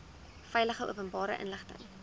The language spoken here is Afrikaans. veilig openbare inligting